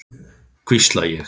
hvísla ég.